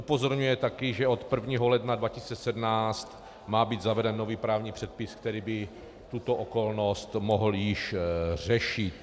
Upozorňuje taky, že od 1. ledna 2017 má být zaveden nový právní předpis, který by tuto okolnost mohl již řešit.